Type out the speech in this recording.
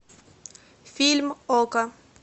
фильм окко